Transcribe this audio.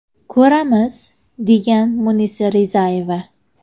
Ko‘ramiz”, degan Munisa Rizayeva.